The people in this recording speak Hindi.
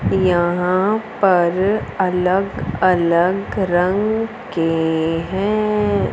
यहां पर अलग अलग रंग के हैं।